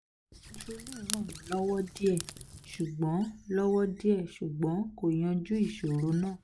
citrulline ràn mí lọ́wọ́ díẹ̀ ṣùgbọ́n lọ́wọ́ díẹ̀ ṣùgbọ́n kò yanjú ìṣòro náà